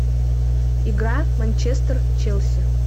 игра манчестер челси